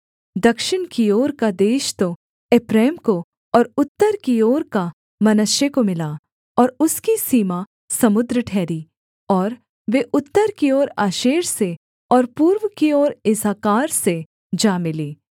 दक्षिण की ओर का देश तो एप्रैम को और उत्तर की ओर का मनश्शे को मिला और उसकी सीमा समुद्र ठहरी और वे उत्तर की ओर आशेर से और पूर्व की ओर इस्साकार से जा मिलीं